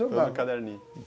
Tudo em caderninho.